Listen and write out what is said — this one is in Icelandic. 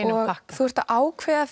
þú ert að ákveða